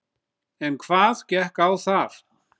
En hvað gekk á þar?